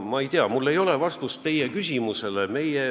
Ma ei tea, mul ei ole vastust teie küsimusele.